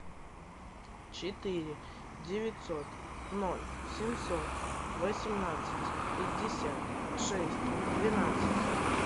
четыре девятьсот ноль семьсот восемнадцать пятьдесят шесть двенадцать